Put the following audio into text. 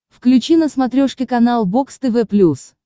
включи на смотрешке канал бокс тв плюс